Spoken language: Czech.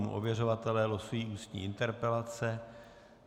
Ověřovatelé losují ústní interpelace.